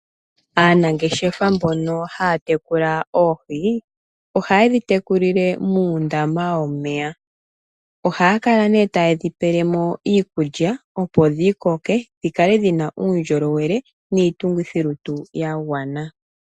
Aanangeshefa mbono haya tekula oohi ohaye dhi tekulile muundama womeya. Ohaya kala nee taye dhi pele mo iikulya opo dhi koke dhi kale dhi na uundjolowele oshowo iitungithilutu ya gwana.